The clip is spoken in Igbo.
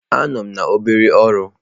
Anọ m na obere ọrụ.